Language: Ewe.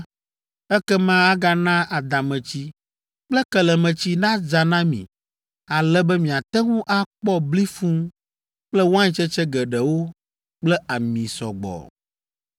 ekema agana adametsi kple kelemetsi nadza na mi ale be miate ŋu akpɔ bli fũu kple waintsetse geɖewo kple ami sɔ gbɔ.